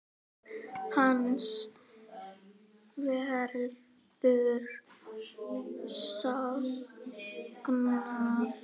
Hans verður saknað.